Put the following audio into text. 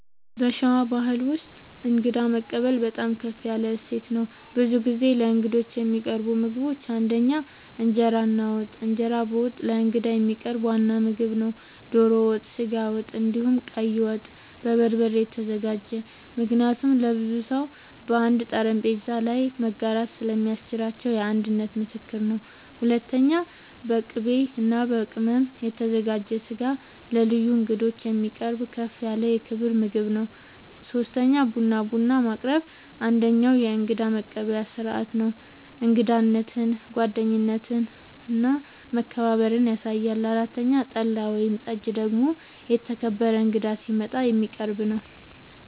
በሸዋ ባሕል ውስጥ እንግዳ መቀበል በጣም ከፍ ያለ እሴት ነው። ብዙ ጊዜ ለእንግዶች የሚቀርቡ ምግቦች ፩) እንጀራ እና ወጥ፦ እንጀራ በወጥ ለእንግዳ የሚቀርብ ዋና ምግብ ነው። ዶሮ ወጥ፣ ስጋ ወጥ፣ እንዲሁም ቀይ ወጥ( በበርበሬ የተዘጋጀ) ምክንያቱም ለብዙ ሰው በአንድ ጠረጴዛ ላይ መጋራት ስለሚያስችል የአንድነት ምልክት ነው። ፪.. በቅቤ እና በቅመም የተዘጋጀ ስጋ ለልዩ እንግዶች የሚቀርብ ከፍ ያለ የክብር ምግብ ነው። ፫. ቡና፦ ቡና ማቅረብ አንደኛዉ የእንግዳ መቀበያ ስርዓት ነው። እንግዳነትን፣ ጓደኝነትን እና መከባበርን ያሳያል። ፬ .ጠላ ወይም ጠጅ ደግሞ የተከበረ እንግዳ ሲመጣ የሚቀረብ ነዉ